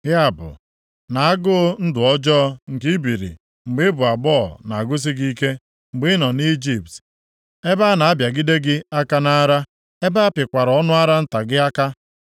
Ya bụ, na-agụụ ndụ ọjọọ nke i biri mgbe ị bụ agbọghọ na-agụsị gị ike, mgbe ị nọ nʼIjipt ebe a na-abịagide gị aka nʼara, ebe apịkwara ọnụ ara nta gị aka.